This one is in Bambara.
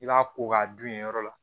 I b'a ko k'a dun yen yɔrɔ la